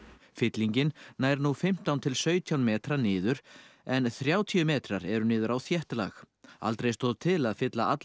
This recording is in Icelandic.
fyllingin nær nú fimmtán til sautján metra niður en þrjátíu metrar eru niður á þétt lag aldrei stóð til að fylla alla